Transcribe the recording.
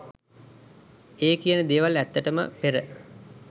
ඒ කියන දේවල් ඇත්තටම පෙර